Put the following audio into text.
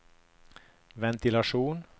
ventilasjon